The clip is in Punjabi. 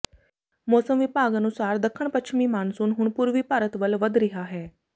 ਮੌਸਮ ਵਿਭਾਗ ਅਨੁਸਾਰ ਦੱਖਣ ਪੱਛਮੀ ਮਾਨਸੂਨ ਹੁਣ ਪੂਰਬੀ ਭਾਰਤ ਵੱਲ ਵਧ ਰਿਹਾ ਹੈ